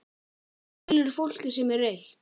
Skilurðu fólkið sem er reitt?